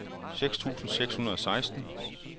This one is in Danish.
seks tusind seks hundrede og seksten